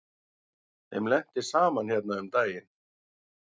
Þeim lenti saman hérna um daginn.